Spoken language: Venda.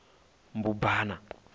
mbubana